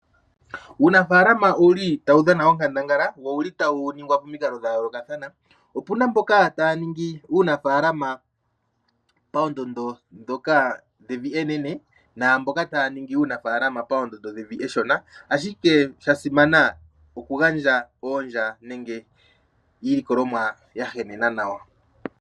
Uunafaalama owu li tawu dhana onkandangala nowu li tawu ningwa pamikalo dha yoolokathana. Opu na mboka taya ningi uunafalaama paandondo dhevi enene naamboka taya ningi uunafaalama paandondo dhevi eshona, ashike sha simana okugandja oondya nenge iilikolomwa ya henena nawa.